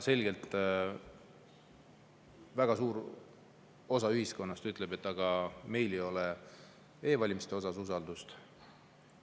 Selgelt väga suur osa ühiskonnast ütleb, et meil ei ole e-valimiste vastu usaldust.